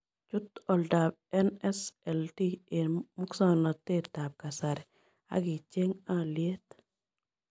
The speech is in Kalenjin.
Chut oldap nsld eng' musognotetap kasari ak icheng' alyet